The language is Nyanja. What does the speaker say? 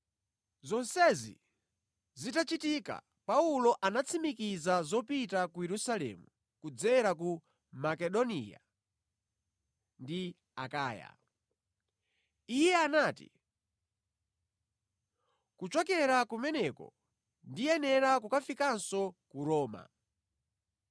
Zonsezi zitachitika Paulo anatsimikiza zopita ku Yerusalemu kudzera ku Makedoniya ndi ku Akaya. Iye anati, “Kuchokera kumeneko, ndiyenera kukafikanso ku Roma.”